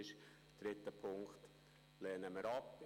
Den dritten Punkt lehnen wir ab.